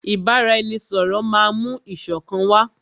Ìbáraẹnisọ̀rọ̀ máà mú ìṣọ̀kan wá.